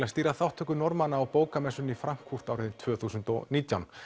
að stýra þátttöku Norðmanna á bókamessunni í Frankfurt árið tvö þúsund og nítján